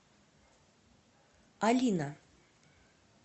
алина